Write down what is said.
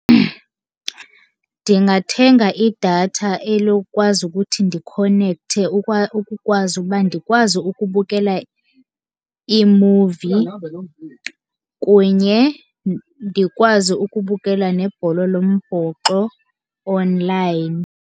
Ndingathenga idatha elukwazi ukuthi ndikhonekthe ukukwazi uba ndikwazi ukubukela iimuvi kunye ndikwazi ukubukela nebhola lombhoxo online.